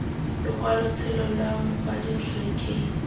lokwalotshelo lwa mokwadi rre k